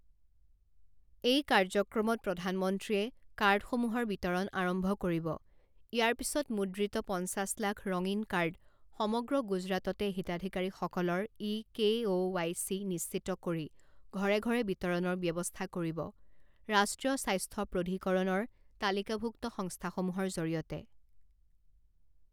এই কাৰ্যক্ৰমত প্ৰধানমন্ত্ৰীয়ে কাৰ্ডসমূহৰ বিতৰণ আৰম্ভ কৰিব, ইয়াৰ পিচত মুদ্ৰিত পঞ্চাছ লাখ ৰঙীণ কাৰ্ড সমগ্ৰ গুজৰাটতে হিতাধিকাৰীসকলৰ E K O Y C নিশ্চিত কৰি ঘৰে ঘৰে বিতৰণৰ ব্যৱস্থা কৰিব ৰাষ্ট্ৰীয় স্বাস্থ্য প্ৰধিকৰণৰ তালিকাভুক্ত স্ংস্থাসমূহৰ জৰিয়তে।